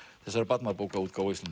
þessarar barnabókaútgáfu